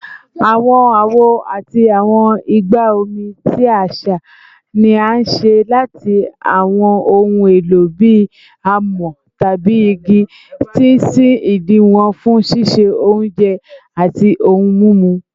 Awọn awo ati awọn igba omi ti aṣa ni a ṣe lati awọn ohun elo bii amọ tabi igi, ti n sin idi wọn fun ṣiṣe ounjẹ ati ohun mimu